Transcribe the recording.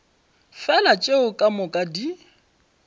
fela tšeo ka moka di